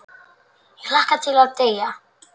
Ég hlakka til að deyja.